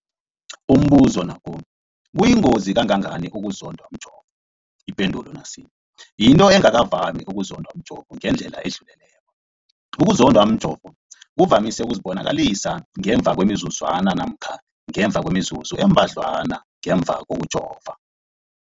Umbuzo, kuyingozi kangangani ukuzondwa mjovo? Ipendulo, yinto engakavami ukuzondwa mjovo ngendlela edluleleko. Ukuzondwa mjovo kuvamise ukuzibonakalisa ngemva kwemizuzwana namkha ngemva kwemizuzu embadlwana ngemva kokujova.